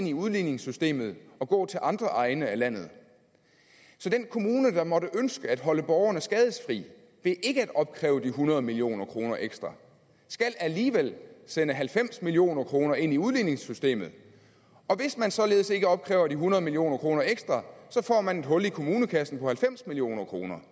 i udligningssystemet og gå til andre egne af landet så den kommune der måtte ønske at holde borgerne skadesfri ved ikke at opkræve de hundrede million kroner ekstra skal alligevel sende halvfems million kroner ind i udligningssystemet og hvis man således ikke opkræver de hundrede million kroner ekstra så får man et hul i kommunekassen på halvfems million kroner